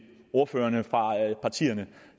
ordførerne for partierne